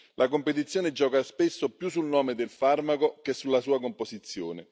La competizione gioca spesso più sul nome del farmaco che sulla sua composizione.